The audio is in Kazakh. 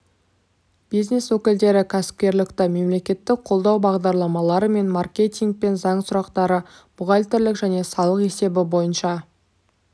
бизнес өкілдері кәсіпкерлікті мемлекеттік қолдау бағдарламалары мен маркетинг және заң сұрақтары бухгалтерлік және салық есебі бойынша